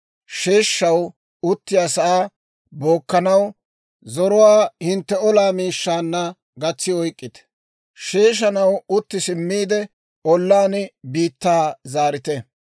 Sheeshshaw uttiyaasaa bookkanaw zoruwaa hintte olaa miishshaanna gatsi oyk'k'ite; sheeshshaw utti simmiide, ollaan biittaa zaarite.